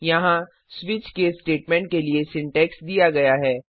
यहाँ switch case statement के लिए सिंटैक्स दिया गया है